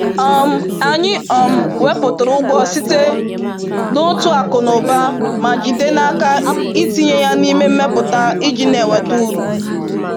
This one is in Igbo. um Anyị um wepụtara ụgwọ site n’otu akụ na ụba ma jide n’aka itinye ya n’ime mmepụta ji na-enweta uru.